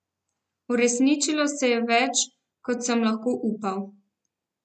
Uresničilo se je več, kot sem lahko upal.